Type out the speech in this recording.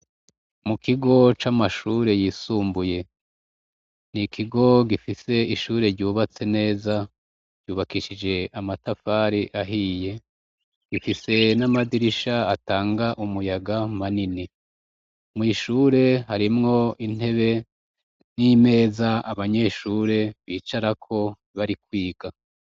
Mu kigo c'amashure yisumbuye ni ikigo gifise ishure ryubatse neza ryubakishije amatafari ahiye gifise n'amadirisha atanga umuyaga manini mw'ishure harimwo intebe n'imeza abanyeshure bicarako bari kwiga.